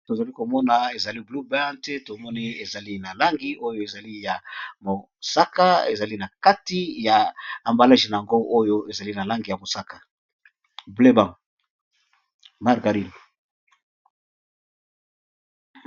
Tozali komona ezali blue band pe tomoni ezali na langi oyo ezali ya mosaka ezali na kati ya ambalage na yango oyo ezali na langi ya mosaka bleu band, margarine.